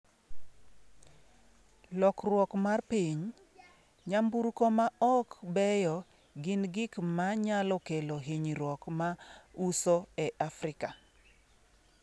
Lokruok mar piny: ‘Nyamburko ma ok beyo gin gik ma nyalo kelo hinyruok’ ma uso e Afrika